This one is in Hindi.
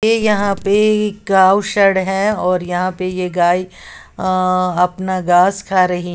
ये यहां पे एक गांव सड है और यहां पर ये गाय अपना घास खा रही है।